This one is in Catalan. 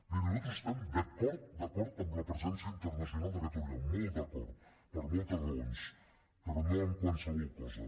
miri nosaltres estem d’acord d’acord amb la presència internacional de catalunya molt d’acord per moltes raons però no en qualsevol cosa